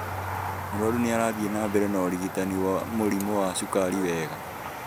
Mũrwaru nĩarathiĩ na mbere na ũrigitani wa mũrimũ wa cukari wega